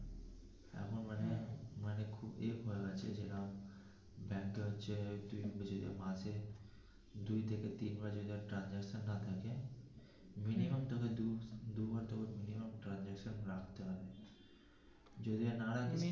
এক আছে যেরম ব্যাংকে হচ্ছে যুই মাসে দু থেকে তিন পাঁচ হাজার না থাকে minimum তোকে দু দু বার transaction রাখতে হয়.